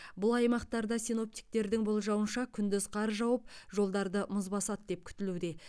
бұл аймақтарда синоптиктердің болжауынша күндіз қар жауып жолдарды мұз басады деп күтілуде